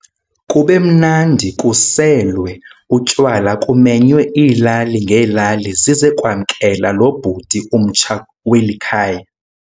kubemnandi kuselwe utywala kumenywe iilali ngeelali zize kwamkela lo bhuti umtsha weli khaya.